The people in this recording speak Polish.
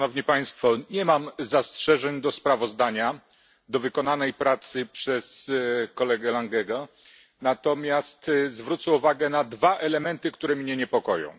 Nie mam zastrzeżeń do sprawozdania, do pracy wykonanej przez kolegę Langego, natomiast zwrócę uwagę na dwa elementy, które mnie niepokoją.